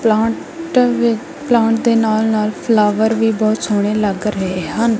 Plant ਵੀ plant ਦੇ ਨਾਲ ਨਾਲ ਫਲਾਵਰ ਵੀ ਬਹੁਤ ਸੋਹਣੇ ਲੱਗ ਰਹੇ ਹਨ।